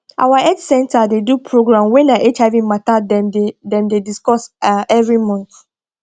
our health center dey do program wey na hiv mata dem dey dem dey discuss ah every month